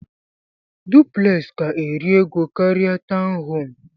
Duplex ka eri ego karia tọwn home.